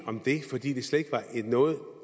om det fordi det slet ikke var noget